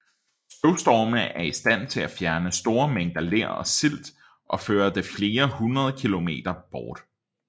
Støvstorme er i stand til at fjerne store mængder ler og silt og føre det flere hundrede km bort